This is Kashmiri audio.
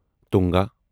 ٹونگا